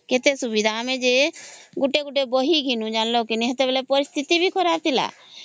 ହଁ କେତେ ସୁବିଧା ଆମେ ଜେ ଗୁଟେ ଗୁଟେ ବହି କିଣୁ ଜାଣିଲା କେ ନାହିଁ ସେତେ ବେଳେ ପରିସ୍ଥିତି ବି ଖରାପ ଥିଲା